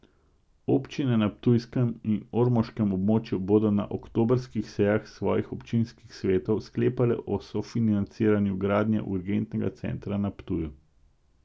Občine na ptujskem in ormoškem območju bodo na oktobrskih sejah svojih občinskih svetov sklepale o sofinanciranju gradnje urgentnega centra na Ptuju.